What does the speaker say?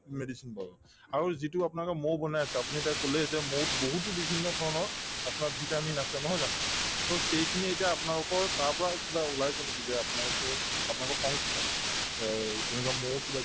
medicine পাওঁ আৰু যিটো আপোনালোকে মৌ বনাই আছে আপুনি এতিয়া কলেই যে মৌত বহুতো বিভিন্ন ধৰণৰ আপোনাৰ vitamin আছে নহয় জানো to সেইখিনি এতিয়া আপোনালোকৰ তাৰ পৰা কিবা ওলাইছে নেকি যে আপোনালোকে আপোনালোকৰ সংস্থাই এই তেনেকুৱা মৌৰ কিবা